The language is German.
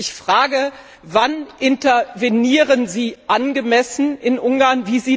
Ich frage Sie Wann intervenieren Sie angemessen in Ungarn?